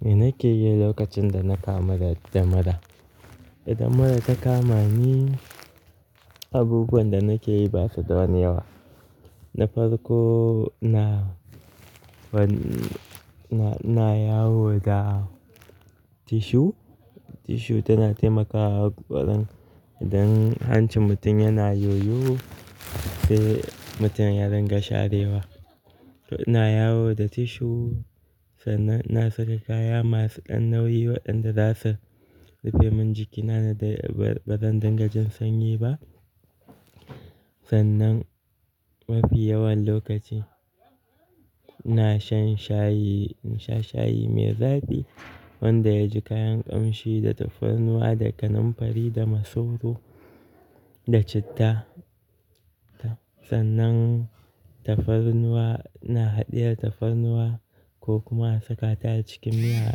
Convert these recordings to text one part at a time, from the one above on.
Me nake yi lokacin da na kamu da mura? Idan mura ta kama ni, abubuwan da nake yi ba suda wani yawa. Na farko, na fari, na, na yawo da tissue. Tissue tana taimakawa ƙwaran idan hancin mutum yana yoyo sai mutum ya dinga sharewa. To ina yawo da tissue sannan ina saka kaya masu ɗan nauyi waɗanda za su rufe min jikina da ba zan dinga jin sanyi ba. Sannan mafi yawan lokaci, ina shan shayi, nasha shayi mai zaɓi wanda ya ji kayan ƙamshi da tafarnuwa, da kanamfari, da masoro, da citta. Sannan tafarnuwa, ina haɗiya tafarnuwa ko kuma a saka ta acikin miya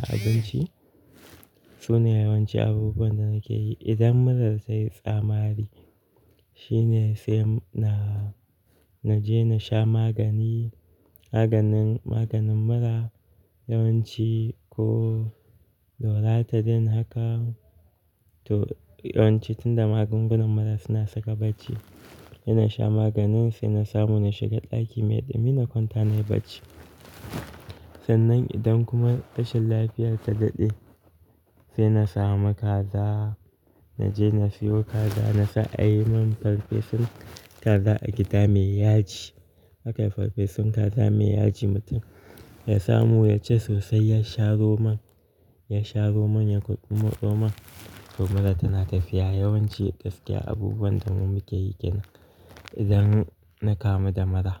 a abinci. Su ne yawanci abubuwan da nake yi. Idan mura ta yi tsamari, shine sai na, na je na sha magani, maganin, maganin mura yawanci ko Loratadine haka. To yawanci tun da magungunan mura suna saka bacci, ina sha maganin sai na samu na shiga ɗaki mai ɗumi na kwanta nayi bacci. Sannan idan kuma tashin lafiya ta daɗe, sai na samu kaza, na je na sayo kaza, na sa a yi min farfesun kaza a gida mai yaji. Hakai farfesun kaza mai yaji mutum ya samu ya ci sosai ya sha Roman, ya sha Roman ya ƙwaƙumoɗo man, to mura tana tafiya. Yawanci, gaskiya abubuwan da mu muke yi kenan idan na kamu da mura.